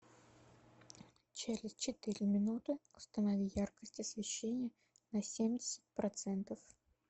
через четыре минуты установи яркость освещения на семьдесят процентов